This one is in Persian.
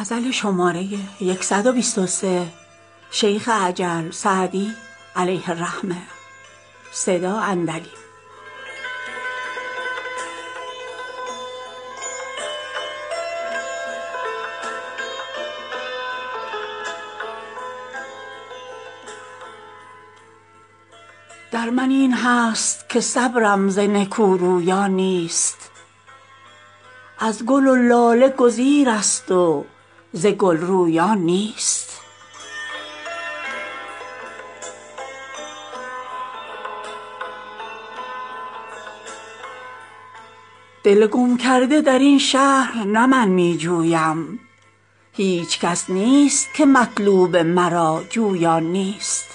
در من این هست که صبرم ز نکورویان نیست از گل و لاله گزیرست و ز گل رویان نیست دل گم کرده در این شهر نه من می جویم هیچ کس نیست که مطلوب مرا جویان نیست